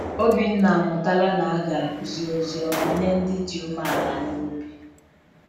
Obinna amụtala na a ga-akụzi Ozi Ọma nye ndị dị umeala n’obi.